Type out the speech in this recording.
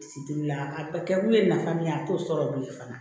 a kɛkun ye nafa min ye a t'o sɔrɔ bilen fana